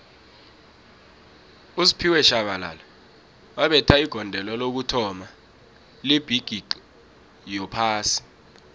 usphiwe shabalala wabetha igondelo lokuthoma lebhigixi yophasi